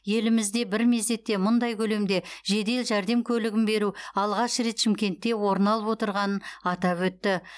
елімізде бір мезетте мұндай көлемде жедел жәрдем көлігін беру алғаш рет шымкентте орын алып отырғанын атап өтті